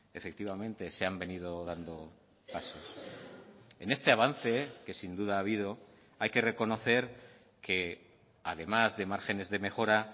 efectivamente se han venido dando pasos en este avance que sin duda ha habido hay que reconocer que además de márgenes de mejora